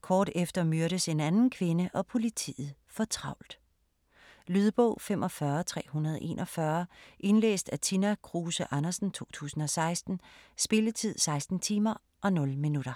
Kort efter myrdes en anden kvinde og politiet får travlt. Lydbog 45341 Indlæst af Tina Kruse Andersen, 2016. Spilletid: 16 timer, 0 minutter.